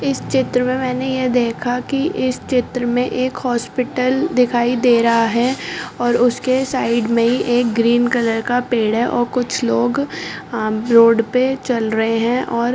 इस चित्र में मैंने ये देखा कि इस चित्र में एक हॉस्पिटल दिखाई दे रहा है और उसके साइड में एक ग्रीन कलर का पेड़ है और कुछ लोग रोड पर चल रहे हैं और--